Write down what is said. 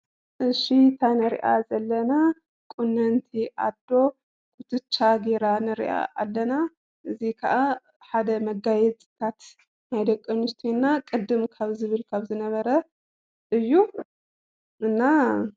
እሺ እዛ እንሪአ ዘለና ቁንንቲ አዶ ኩትቻ ገይራ ንሪአ አለና። እዚ ከዓ ሓደ መጋየፅታት ናይ ደቂ አንስትዮና ቅድም ካብ ዝብል ካብ ዝነበረ እዩ፡፡ እና ...